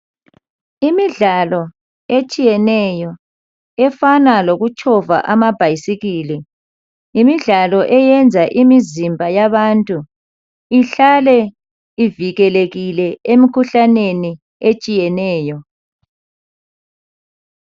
Imidlalo etshiyeneyo efana lokutshova amabhasikili. Imidlalo eyenza imizimba yabantu ihlale ivukelekile emikhuhlaneni etshiyeneyo .